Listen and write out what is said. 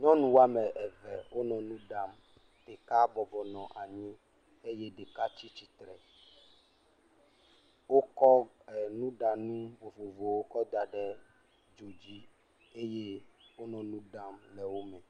Nyɔnu wɔme eve wonɔ nu ɖam. Ɖeka bɔbɔnɔ anyi eye ɖeka tsi tsitre. Wokɔ e nuɖanu vovovowo kɔ da ɖe edzo dzi eye wonɔ nu ɖam le wo me.